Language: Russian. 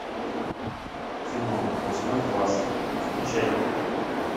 кино восьмой класс включай